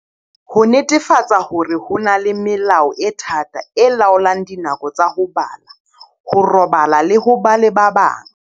Ho netefatsa hore ho na le melao e thata e laolang dinako tsa ho bala, ho robala le ho ba le ba bang.